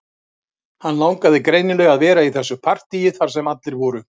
Hann langaði greinilega að vera í þessu partíi þar sem allir voru